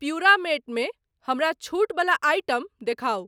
प्युरामेट मे हमरा छूट बला आइटम देखाउ।